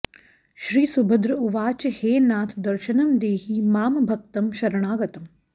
श्रीसुभद्र उवाच हे नाथ दर्श्नं देहि मां भक्तं शरणागतम्